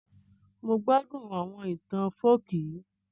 Mo n gbádún àwọn itan folk yii